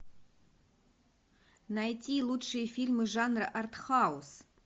найти лучшие фильмы жанра арт хаус